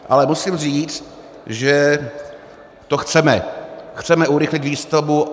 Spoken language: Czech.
Ale musím říct, že to chceme, chceme urychlit výstavbu.